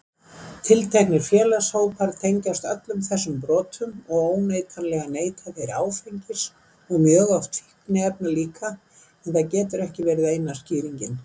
Tilteknir félagshópar tengjast öllum þessum brotum og óneitanlega neyta þeir áfengis og mjög oft fíkniefna líka en það getur ekki verið eina skýringin.